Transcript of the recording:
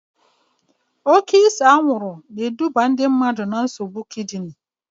Oke ise anwụrụ ga-eduba na nsogbu kidini